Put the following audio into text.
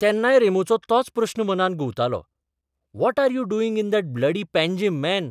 तेन्नाय रॅमोचो तोच प्रस्न मनांत घुंवतालोः what are you doing in that bloody Panjim, man?